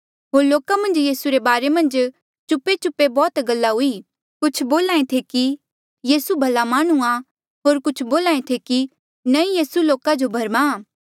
होर लोका मन्झ यीसू रे बारे मन्झ चुपेचुपे बौह्त गल्ला हुई कुछ बोल्हा ऐें थे कि यीसू भला माह्णुंआं होर कुछ बोल्हा ऐें थे कि नंईं यीसू लोका जो भरमाहां